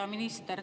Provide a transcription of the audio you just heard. Hea minister!